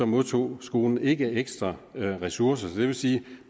modtog skolerne ikke ekstra ressourcer så det vil sige